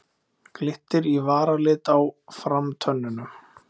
Glittir í varalit á framtönnunum.